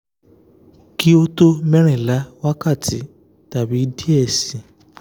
ki o to merinla wakati tabi diẹ ẹ sii